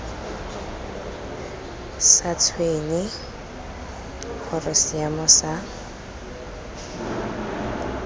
sa tshwenye gore seemo sa